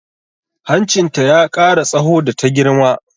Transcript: Hancinta ya ƙara tsaho da ta girma